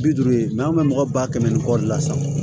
Bi duuru ye an bɛ mɔgɔ ba kɛmɛ ni kɔɔri la sa